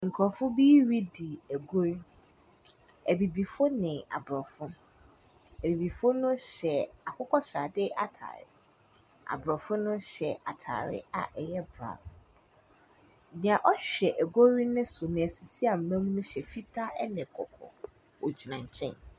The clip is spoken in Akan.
Nkurofoɔ bi redi agorɔ. Abibifoɔ ne abrɔfo. Abibifoɔ no hyɛ akokɔsrade ataade. Abrɔfo no hyɛ ataade a ɛyɛ braon. Nea ɔhwɛ agorɔ no so no asisi aman no hyɛ fitaa ɛne kɔkɔɔ. Ogyina nkyɛn.